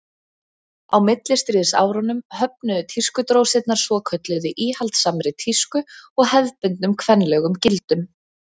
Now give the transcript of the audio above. á millistríðsárunum höfnuðu tískudrósirnar svokölluðu íhaldssamri tísku og hefðbundnum kvenlegum gildum